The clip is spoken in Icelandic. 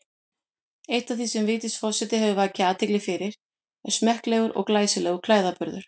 Eitt af því sem Vigdís forseti hefur vakið athygli fyrir er smekklegur og glæsilegur klæðaburður.